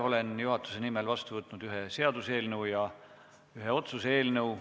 Olen juhatuse nimel vastu võtnud ühe seaduseelnõu ja ühe otsuse eelnõu.